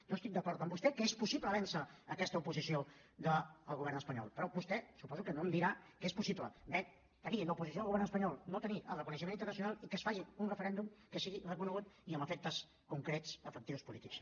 jo estic d’acord amb vostè que és possible vèncer aquesta oposició del govern espanyol però vostè suposo que no em dirà que és possible tenir l’oposició del govern espanyol no tenir el reconeixement internacional i que es faci un referèndum que sigui reconegut i amb efectes concrets efectius polítics